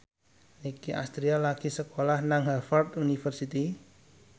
Nicky Astria lagi sekolah nang Harvard university